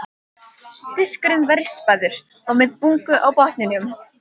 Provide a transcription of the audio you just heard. Diskurinn var rispaður og með bungu á botninum.